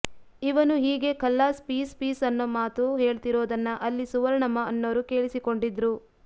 ಇವನು ಹೀಗೆ ಖಲ್ಲಾಸ್ ಪೀಸ್ ಪೀಸ್ ಅನ್ನೋ ಮಾತು ಹೇಳ್ತಿರೋದನ್ನ ಅಲ್ಲಿ ಸುವರ್ಣಮ್ಮ ಅನ್ನೋರು ಕೇಳಿಸಿಕೊಂಡಿದ್ರು